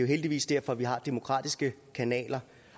heldigvis derfor vi har demokratiske kanaler